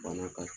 Bana ka